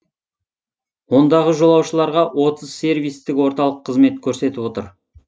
ондағы жолаушыларға отыз сервистік орталық қызмет көрсетіп отыр